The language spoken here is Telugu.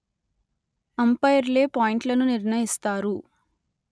అంపైర్లే పాయింట్లను నిర్ణయిస్తారు